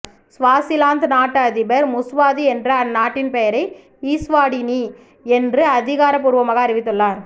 Swaziland நாட்டு அதிபர் Mswati என்ற அந்நாட்டின் பெயரை ஈஷ்வாடினி என்று அதிகாரபூர்வமாக அறிவித்துள்ளார்